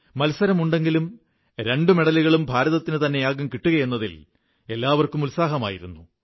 മത്സരമുണ്ടെങ്കിലും രണ്ടുമെഡലുകളും ഭാരതത്തിനു തന്നെയാകും കിട്ടുകയെന്നതിൽ എല്ലാവർക്കുമുത്സാഹമായിരുന്നു